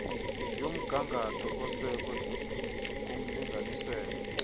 yomgangatho esekwe kumlinganiselo